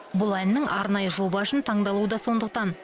бұл әннің арнайы жоба үшін таңдалуы да сондықтан